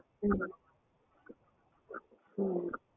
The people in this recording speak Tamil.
function வந்து எப்பையாச்ச்சும் ஒரு தடவதான் வரும் ம் so அதனாலா